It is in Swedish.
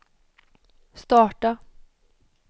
starta